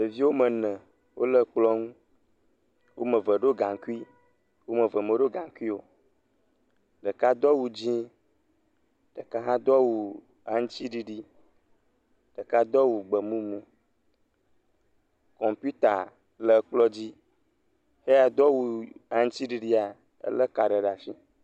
Ɖeviviwo mene wo le kplɔ̃ŋu, womeve ɖo gaŋkui, womeve meɖo gaŋkui o,ɖeka do awu dzĩ, ɖeka hã do awu aŋti ɖiɖi, ɖeka do awu gbemumu, kɔmpuita le ekplɔdzi, xeya do awu aŋti ɖiɖia ele ka ɖe ɖasi.